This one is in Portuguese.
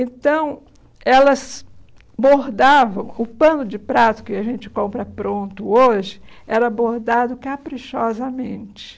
Então, elas bordavam... O pano de prato que a gente compra pronto hoje era bordado caprichosamente.